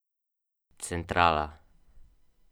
Plaz se je sprožil okoli desete ure.